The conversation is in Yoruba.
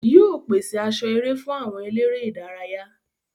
Yóò pèse aṣọ eré fún àwọn eléré ìdárayá.